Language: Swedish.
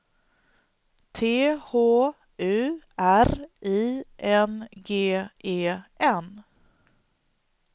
T H U R I N G E N